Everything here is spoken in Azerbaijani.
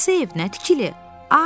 Hansı ev, nə tikili?